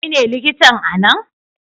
Kai ne likitan a nan?